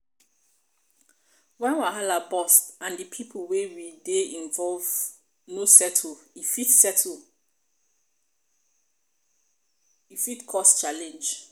when wahala burst and di pipo wey dey involve no settle e fit settle e fit cause challenge